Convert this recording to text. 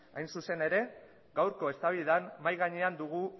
hain zuzen ere gaurko eztabaidan mahai gainean dugu